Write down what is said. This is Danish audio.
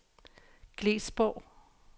Glesborg